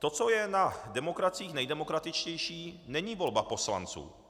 To, co je na demokraciích nejdemokratičtější, není volba poslanců.